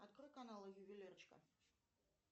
открой канал ювелирочка